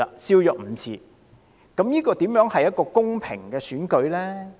這怎會是一個公平的選舉呢？